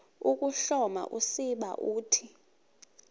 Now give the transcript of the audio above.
ukuhloma usiba uthi